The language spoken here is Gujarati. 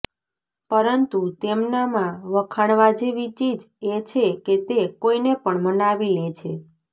પરંતુ તેમનામાં વખાણવા જેવી ચીજ એ છે કે તે કોઈને પણ મનાવી લે છે